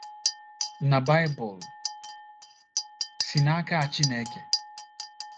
NA BAỊBỤL SI N’AKA CHINEKE?